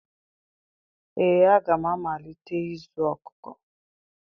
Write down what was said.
Ee, aga m amalite ịzụ ọkụkọ